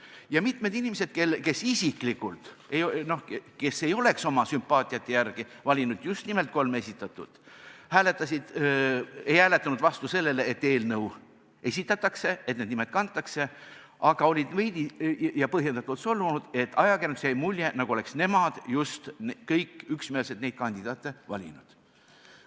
Ja mitmed inimesed, kes oma sümpaatia järgi ei oleks valinud just nimelt neid kolme esitatut, ei hääletanud vastu sellele, et eelnõu esitatakse ja need nimed sellesse kantakse, küll aga olid nad veidi ja põhjendatult solvunud selle pärast, et ajakirjanduses öeldust jäi mulje, nagu oleks nad kõik üksmeelselt need kandidaadid valinud.